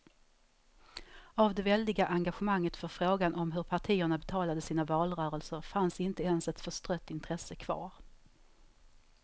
Av det väldiga engagemanget för frågan om hur partierna betalade sina valrörelser fanns inte ens ett förstrött intresse kvar.